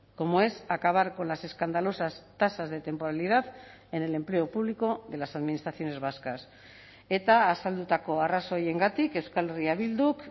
como es acabar con las escandalosas tasas de temporalidad en el empleo público de las administraciones vascas eta azaldutako arrazoiengatik euskal herria bilduk